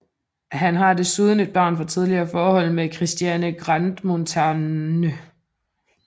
Han har desuden et barn fra tidligere forhold med Christiane Grandmontagne